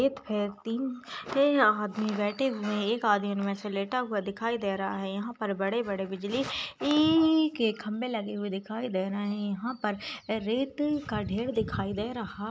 तीन आदमी बैठे हुए एक आदमी में से लेटा हुआ दिखाई दे रहा है यहां पर बड़े-बड़े बिजली इ के खंभे लगे हुए दिखाई दे रहे है यहां पर रेत का ढेर दिखाई दे रहा--